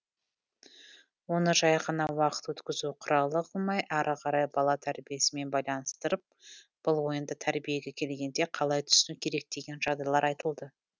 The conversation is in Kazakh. оны жай ғана уақыт өткізу құралы қылмай ары қарай бала тәрбиесімен байланыстырып бұл ойынды тәрбиеге келгенде қалай түсіну керек деген жағдайлар айтылды